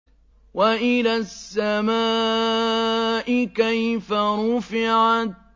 وَإِلَى السَّمَاءِ كَيْفَ رُفِعَتْ